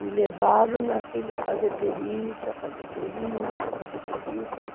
Me levaram naquele fazer perícia, fazer perícia, fazer perícia.